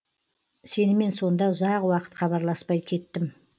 сенімен сонда ұзақ уақыт хабарласпай кеттім